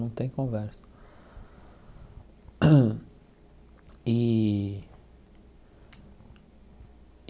Não tem conversa e.